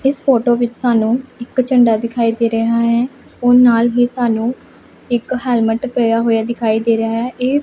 ਇਸ ਫੋਟੋ ਵਿੱਚ ਸਾਨੂੰ ਇੱਕ ਝੰਡਾ ਦਿਖਾਈ ਦੇ ਰਿਹਾ ਹੈ ਔਰ ਨਾਲ ਹੀ ਸਾਨੂੰ ਇੱਕ ਹੈਲਮਟ ਪਿਆ ਹੋਇਆ ਦਿਖਾਈ ਦੇ ਰਿਹਾ ਹੈ ਇਹ--